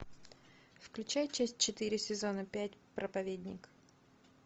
включай часть четыре сезона пять проповедник